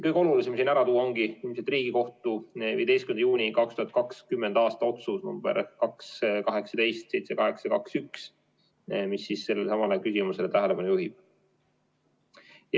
Kõige olulisem on siin ära tuua Riigikohtu 15. juuni 2020. aasta otsus number 2‑18‑7821, mis sellele samale küsimusele tähelepanu juhib.